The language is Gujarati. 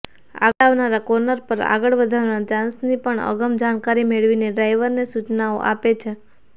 આગળ આવનારા કોર્નર પર આગળ વધવાના ચાન્સની પણ અગમ જાણકારી મેળવીને ડ્રાઈવરને સૂચનાઓ આપે છે